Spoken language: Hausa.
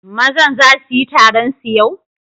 Mazan za su yi taron su yau?